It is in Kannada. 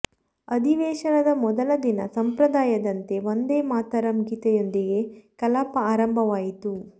ಅಧಿವೇಶನದ ಮೊದಲ ದಿನ ಸಂಪ್ರದಾಯದಂತೆ ವಂದೇ ಮಾತರಂ ಗೀತೆಯೊಂದಿಗೆ ಕಲಾಪ ಆರಂಭವಾಯಿತು